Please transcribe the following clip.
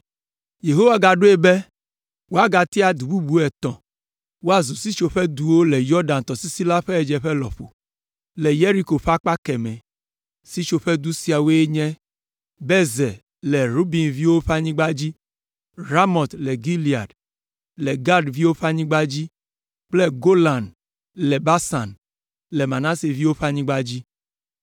Yehowa gaɖoe be woagatia du bubu etɔ̃ woazu sitsoƒeduwo le Yɔdan tɔsisi la ƒe ɣedzeƒe lɔƒo, le Yeriko ƒe akpa kemɛ. Sitsoƒedu siawoe nye Bezer le Ruben ƒe viwo ƒe anyigba dzi, Ramot le Gilead, le Gad ƒe viwo ƒe anyigba dzi kple Golan le Basan, le Manase ƒe viwo ƒe anyigba dzi.